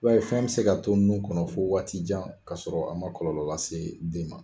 I b'a ye fɛn be se ka to nun kɔnɔ fo waati jan ka sɔrɔ a ma kɔlɔlɔ lase den ma.